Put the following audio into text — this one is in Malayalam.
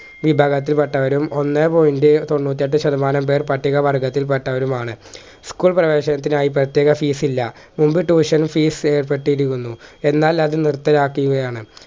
വിഭാഗത്തിൽപ്പെട്ടവരും ഒന്നേ point തൊണ്ണൂറ്റേറ്റ് ശതമാനം പേർ പട്ടിക വർഗ്ഗത്തിൽ പെട്ടവരുമാണ് school പ്രേവേശനത്തിനായി പ്രേത്യേക fees ഇല്ല മുമ്പ് tuition fees ഏർപെട്ടിരിക്കുന്നു എന്നാൽ അത് നിർത്തലാക്കുകയാണ്